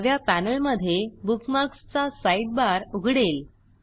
डाव्या पॅनेलमधे बुकमार्क्स चा साईडबार उघडेल